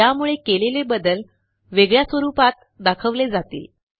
यामुळे केलेले बदल वेगळ्या स्वरूपात दाखवले जातील